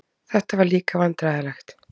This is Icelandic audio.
Þetta var líka vandræðalegt.